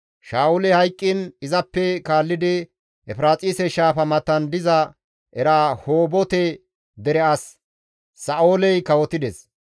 Sha7uley hayqqiin izappe kaallidi Efiraaxise shaafa matan diza Erahoobote dere as Sa7ooli kawotides.